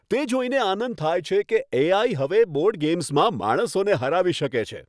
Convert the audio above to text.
તે જોઈને આનંદ થાય છે કે એ.આઇ. હવે બોર્ડ ગેમ્સમાં માણસોને હરાવી શકે છે.